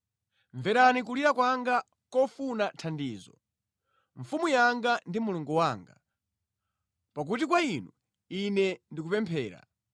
Mverani kulira kwanga kofuna thandizo, Mfumu yanga ndi Mulungu wanga, pakuti kwa Inu, ine ndikupemphera.